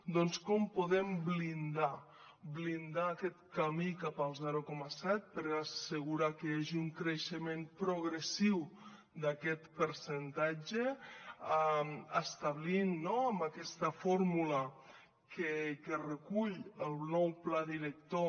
doncs com podem blindar aquest camí cap al zero coma set per assegurar que hi hagi un creixement progressiu d’aquest percentatge establint amb aquesta fórmula que recull el nou pla director